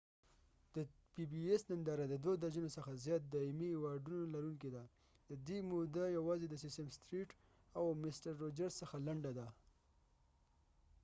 د پی بی ایس ننداره د دوه درجنو څخه زیان د ایمی ایوارډونو لرونکې ده ددې موده یوازې د سیسیم ستریټ او مسټر روجرز څخه لنډه ده